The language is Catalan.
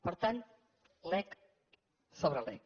per tant lec sobre lec